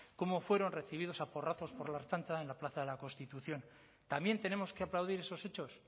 cómo fueron recibidos a porrazos por la ertzaintza en la plaza de la constitución también tenemos que aplaudir esos hechos